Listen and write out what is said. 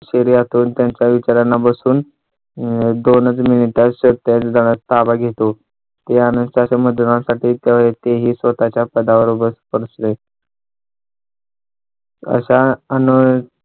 शरीरातून त्यांच्या विचारांना बसून एक दोनच मिनिटात ताबा घेतो त्यानूसार ते ही स्वतःच्या पदावर बसले अशा अनेक